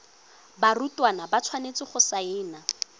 barutwana ba tshwanetse go saena